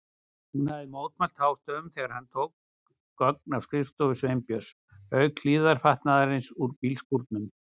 Hún hafði mótmælt hástöfum þegar hann tók gögn af skrifstofu Sveinbjörns, auk hlífðarfatnaðarins úr bílskúrnum.